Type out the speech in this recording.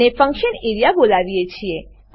અને function A R E A બોલાવીએ છીએ